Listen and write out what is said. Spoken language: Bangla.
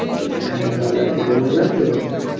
হ্যাঁ ভালো আছি তুমি ভালো আছো